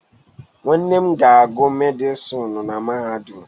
Nwanne m ga-agụ Medịsinu na Mahadum.